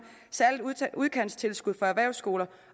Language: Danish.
særligt udkantstilskud for erhvervsskoler